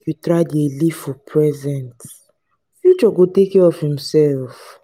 you try dey live for present future go take care of imsef.